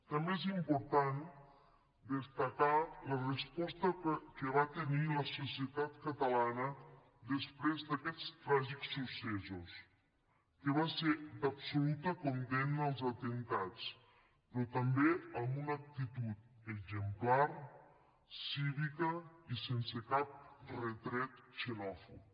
també és important destacar la resposta que va tenir la societat catalana després d’aquests tràgics successos que va ser d’absoluta condemna als atemptats però també amb una actitud exemplar cívica i sense cap retret xenòfob